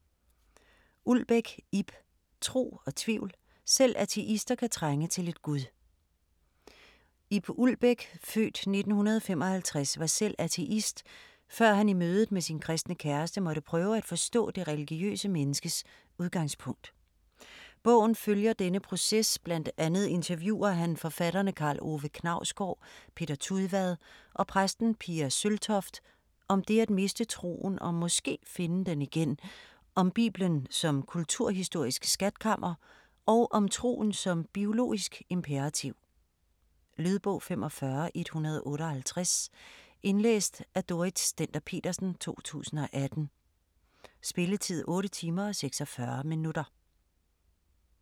Ulbæk, Ib: Tro og tvivl: selv ateister kan trænge til lidt gud Ib Ulbæk (f. 1955) var selv ateist, før han i mødet med sin kristne kæreste, måtte prøve at forstå det religiøse menneskes udgangspunkt. Bogen følger denne proces, bl.a. interviewer han forfatterne Karl Ove Knausgård, Peter Tudvad og præsten Pia Søltoft, om det at miste troen og (måske) finde den igen, om bibelen som kulturhistorisk skatkammer og om troen som biologisk imperativ. Lydbog 45158 Indlæst af Dorrit Stender-Petersen, 2018. Spilletid: 8 timer, 46 minutter.